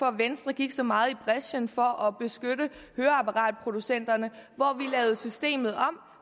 at venstre gik så meget i brechen for at beskytte høreapparatproducenterne vi lavede systemet om